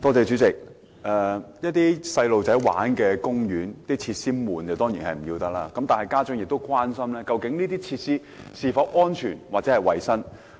主席，兒童遊樂場的設施沉悶，當然要不得。然而，家長亦關心有關設施是否安全或合乎衞生。